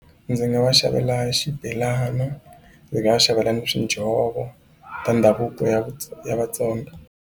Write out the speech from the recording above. Ndzi nga va xavela xibelana ndzi nga va xavela ni ta ndhavuko ya ya Vatsonga.